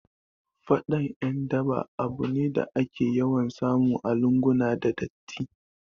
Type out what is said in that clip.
Faɗan ƴan daba abu ne da ake yawan samu a lunguna da datti